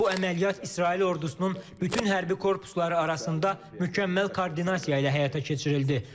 Bu əməliyyat İsrail ordusunun bütün hərbi korpusları arasında mükəmməl koordinasiya ilə həyata keçirildi.